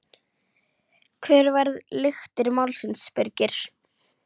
Hver verða lyktir málsins Birgir?